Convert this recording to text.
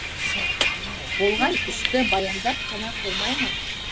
болған істі баяндап қана қоймай ма